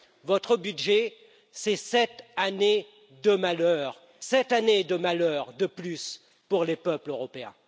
Votre budget, ce sont sept années de malheur, sept années de malheur de plus pour les peuples européens.